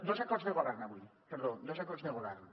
dos acords de govern avui perdó dos acords de govern